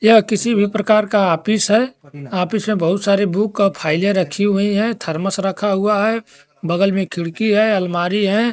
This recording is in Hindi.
यह किसी भी प्रकार का ऑफिस है ऑफिस में बहुत सारे बुक का फाइले रखी हुई है थरमस रखा हुआ है बगल में खिड़की है अलमारी है।